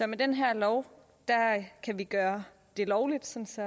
med den her lov kan vi gøre det lovligt så